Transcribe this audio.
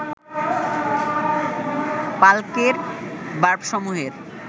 পালকের বার্বসমূহের